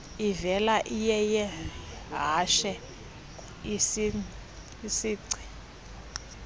ivela iyeyehashe isingci